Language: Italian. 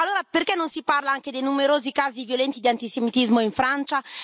Allora perché non si parla anche dei numerosi casi violenti di antisemitismo in Francia?